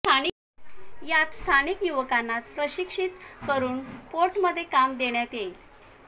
यात स्थानिक युवकांनाच प्रशिक्षित करून पोर्टमध्ये काम देण्यात येईल